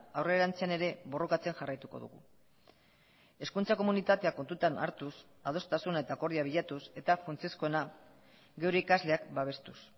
aurrerantzean ere borrokatzen jarraituko dugu hezkuntza komunitatea kontutan hartuz adostasuna eta akordioa bilatuz eta funtsezkoena geure ikasleak babestuz